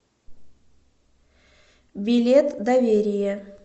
билет доверие